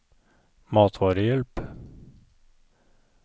matvarehjelp